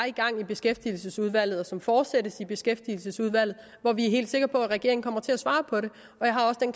i gang i beskæftigelsesudvalget og som fortsættes i beskæftigelsesudvalget og hvor vi er helt sikre på at regeringen kommer til at svare på det